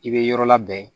I bɛ yɔrɔ labɛn